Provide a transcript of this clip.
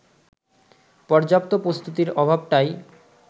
পর্যাপ্ত প্রস্তুতির অভাবটাই